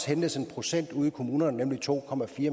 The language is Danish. hentes en procent ude i kommunerne nemlig to